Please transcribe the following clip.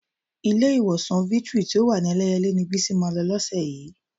Ilé-ìwòsàn Victory tí ó wà ní Ẹlẹ́yẹlé ni Bísí máa lọ lọ́sẹ̀ yìí.